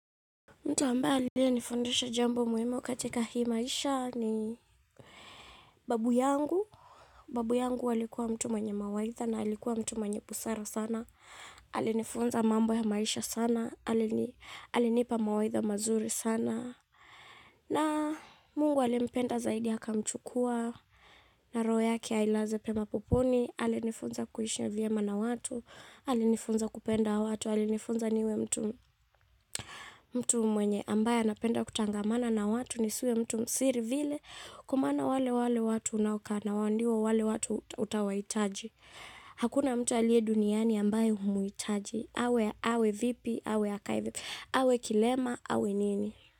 Mtu ambaye aliyenifundisha jambo muhimu katika hii maisha ni babu yangu. Babu yangu alikuwa mtu mwenye mawaidha na alikuwa mtu mwenye busara sana. Alinifunza mambo ya maisha sana. Alinipa mawaitha mazuri sana. Na Mungu alimpenda zaidi akamchukua na roho yake ailaze pema peponi. Alinifunza kuishi vyema na watu. Alinifunza kupenda watu. Walinifunza niwe mtu mwenye ambaye anapenda kutangamana na watu nisiwe mtu msiri vile kwa maana wale wale watu unaokaa nao ndio wale watu utawahitaji. Hakuna mtu aliye duniani ambaye humuitaji. Awe, awe vipi, awe akaa hivi, awe kilema, awe nini.